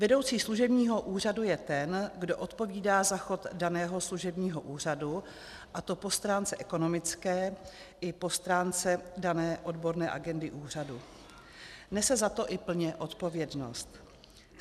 Vedoucí služebního úřadu je ten, kdo odpovídá za chod daného služebního úřadu, a to po stránce ekonomické i po stránce dané odborné agendy úřadu, nese za to i plně odpovědnost.